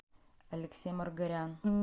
алексей маргарян